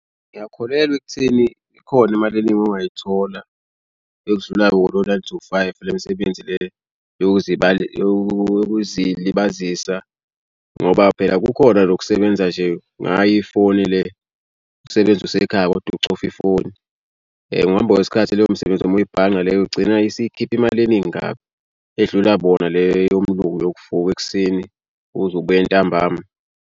Ngiyakholelwa ekutheni ikhona imali eningi ongayithola ewudlulayo wona lo nine to five le misebenzi le yokuzilibazisa ngoba phela kukhona nokusebenza nje ngayo ifoni le. Usebenze usekhaya koda ucofa ifoni. Ngokuhamba kwesikhathi leyo msebenzi uma uyibhanqa leyo ugcina isikhipha imali eningi kabi edlula bona le yomlungu yokuvuka ekuseni uze ubuye ntambama.